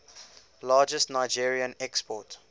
largest nigerien export